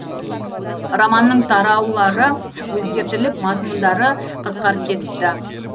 романның тараулары өзгертіліп мазмұндары қысқарып кетіпті